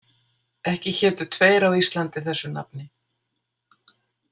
Ekki hétu tveir á Íslandi þessu nafni.